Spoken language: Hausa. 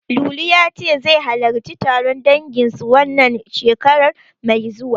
Lulu ya ce, zai halarci taron dangin su, wannan shekarar mai zuwa.